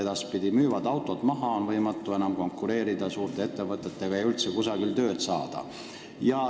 Nad müüvad autod maha, sest neil on võimatu konkureerida suurte ettevõtetega ja üldse tööd saada.